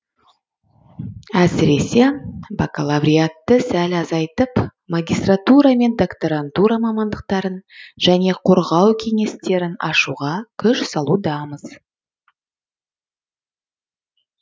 әсіресе бакалавриатты сәл азайтып магистратура мен докторантура мамандықтарын және қорғау кеңестерін ашуға күш салудамыз